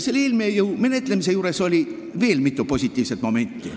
... selle eelnõu menetlemise juures oli veel mitu positiivset momenti.